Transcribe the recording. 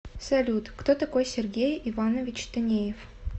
салют кто такой сергей иванович танеев